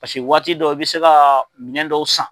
Pase waati dɔ i bɛ se ka minɛn dɔw san.